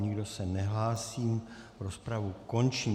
Nikdo se nehlásí, rozpravu končím.